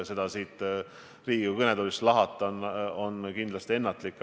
Seda põhjust siit Riigikogu kõnetoolist lahata on kindlasti ennatlik.